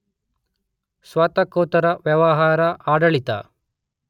ಸ್ನಾತಕೋತ್ತರ ವ್ಯವಹಾರ ಆಡಳಿತ